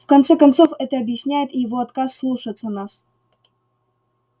в конце концов это объясняет и его отказ слушаться нас